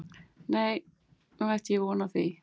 Nei, né ætti ég von á því